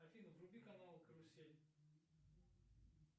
афина вруби канал карусель